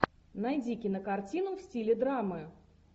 найди кинокартину в стиле драмы